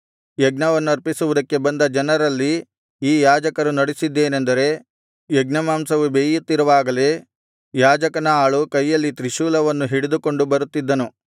ಯಜ್ಞವನ್ನರ್ಪಿಸುವುದಕ್ಕೆ ಬಂದ ಜನರಲ್ಲಿ ಈ ಯಾಜಕರು ನಡಿಸಿದ್ದೇನಂದರೆ ಯಜ್ಞಮಾಂಸವು ಬೇಯುತ್ತಿರುವಾಗಲೇ ಯಾಜಕನ ಆಳು ಕೈಯಲ್ಲಿ ತ್ರಿಶೂಲವನ್ನು ಹಿಡಿದುಕೊಂಡು ಬರುತ್ತಿದ್ದನು